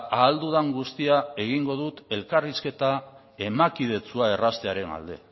ahal dudan guztia egingo dut